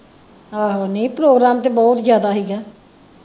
ਆਹੋ ਨਹੀਂ program ਤੇ ਬਹੁਤ ਜਿਆਦਾ ਹੀ ਗਾ।